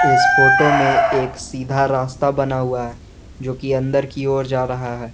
इस फोटो में एक सीधा रास्ता बना हुआ है जोकि अंदर की ओर जा रहा है।